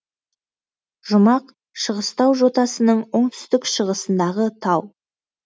жұмақ шыңғыстау жотасының оңтүстік шығысындағы тау